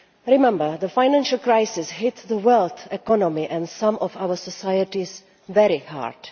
Remember, the financial crisis hit the world economy and some of our societies very hard.